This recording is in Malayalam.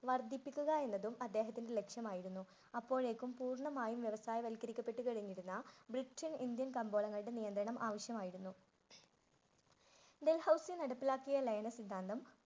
വര്‍ദ്ധിപ്പിക്കുക എന്നതും അദ്ദേഹത്തിന്റെ ലക്ഷ്യമായിരുന്നു. അപ്പോഴേക്കും പൂർണമായും വ്യവസായ വല്കരിക്കപ്പെട്ടുകഴിഞ്ഞിരുന്നു. ഇന്ത്യൻ കമ്പോളങ്ങളുടെ നിയന്ത്രണങ്ങള്‍ ആവശ്യമായിരുന്നു. ഡല്‍ഹൌസി നടപ്പിലാക്കിയ ലയന സിദ്ധാന്തം